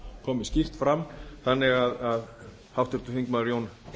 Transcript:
komi skýrt fram þannig að háttvirtur þingmaður jón